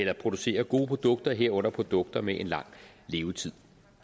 producere gode produkter herunder produkter med en lang levetid